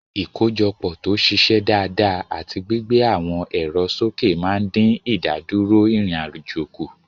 Ìkójọpọ̀ tó ṣiṣẹ́ dáadáa àti gbígbé àwọn ẹ̀rọ sókè máa ń dín ìdádúró ìrìn-àjò kù.